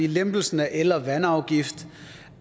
lempelsen af el og vandafgift